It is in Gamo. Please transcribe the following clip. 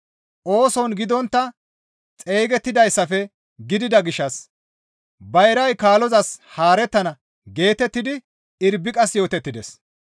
ooson gidontta xeygidayssafe gidida gishshas, «Bayray kaalozas haarettana» geetettidi Irbiqas yootettides.